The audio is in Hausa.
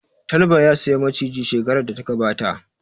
Talba ya saya Maciji shekarar da ta gabata